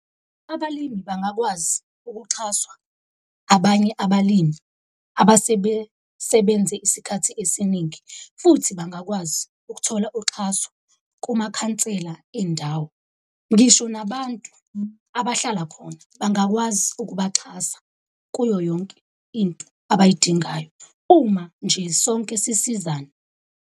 Abalimi bangakwazi ukuxhaswa abanye abalimi abasebesebenze isikhathi esiningi futhi bangakwazi ukuthola uxhaso kumakhansela endawo. Ngisho nabantu abahlala khona bangakwazi ukubaxhasa kuyo yonke into abayidingayo, uma nje sonke sisizana.